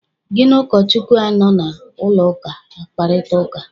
Gị na ụkọchukwu anọ na ụlọụka akparịta ụka?